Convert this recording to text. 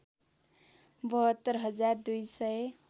७२ हजार २ सय